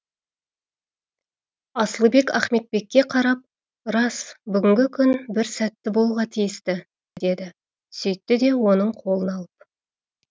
асылбек ахметбекке қарап рас бүгінгі күн бір сәтті болуға тиісті деді сөйтті де оның қолын алып